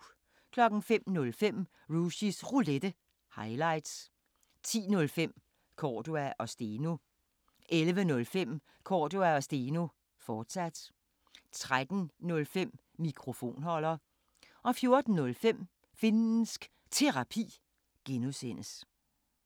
05:05: Rushys Roulette – highlights 10:05: Cordua & Steno 11:05: Cordua & Steno, fortsat 13:05: Mikrofonholder 14:05: Finnsk Terapi (G)